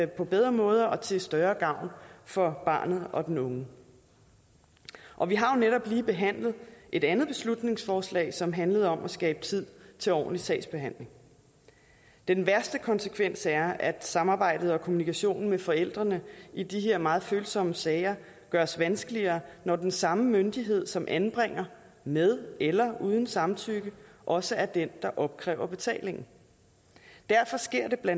på bedre måder og til større gavn for barnet og den unge og vi har jo lige behandlet et andet beslutningsforslag som handlede om at skabe tid til ordentlig sagsbehandling den værste konsekvens er at samarbejdet og kommunikationen med forældrene i de her meget følsomme sager gøres vanskeligere når den samme myndighed som anbringer med eller uden samtykke også er den der opkræver betalingen derfor sker det bla